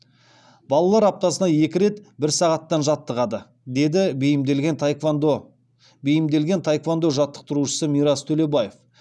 балалар аптасына екі рет бір сағаттан жаттығады деді бейімделген таеквондо жаттықтырушысы мирас төлебаев